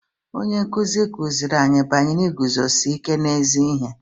Onye nkụzi ọ kụziri anyị banyere iguzosi ike n'ezi ihe?